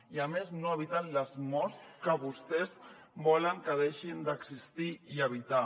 i a més no eviten les morts que vostès volen que deixin d’existir i evitar